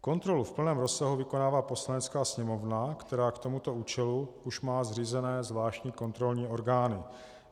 Kontrolu v plném rozsahu vykonává Poslanecká sněmovna, která k tomuto účelu už má zřízené zvláštní kontrolní orgány.